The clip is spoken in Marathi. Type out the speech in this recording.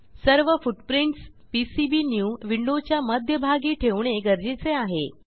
सर्व फूटप्रिंटस पीसीबीन्यू विंडोच्या मध्यभागी ठेवणे गरजेचे आहे